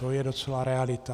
To je docela realita.